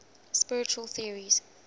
spiritual theories